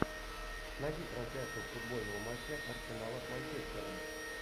найди трансляцию футбольного матча арсенала с манчестером